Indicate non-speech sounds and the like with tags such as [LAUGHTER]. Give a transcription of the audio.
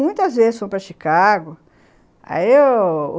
Muitas vezes fomos para Chicago. [UNINTELLIGIBLE]